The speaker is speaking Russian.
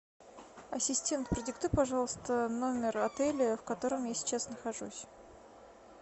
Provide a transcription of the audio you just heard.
ассистент продиктуй пожалуйста номер отеля в котором я сейчас нахожусь